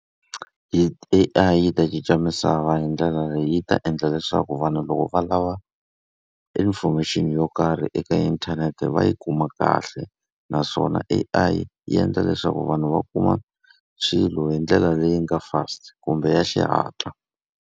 Hi A_I yi ta cinca misava hi ndlela leyi, yi ta endla leswaku vanhu loko va lava information yo karhi eka inthanete va yi kuma kahle. Naswona A_I yi endla leswaku vanhu va kuma swilo hi ndlela leyi nga fast kumbe ya xihatla.